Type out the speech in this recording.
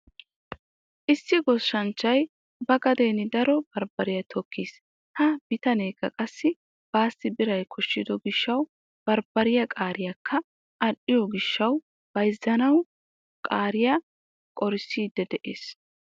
Issi goshshanchchay ba gadeeni daro barbbariya tokkiis. Ha bitaneekka qassi baassi biray koshshido gishshawu barbbariya qaareekka adhdhiyo gishshawu bayzzanawu qaariya qorissiiddi de'ees.